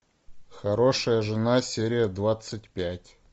хорошая жена серия двадцать пять